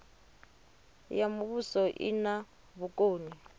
ya muvhuso i na vhukoni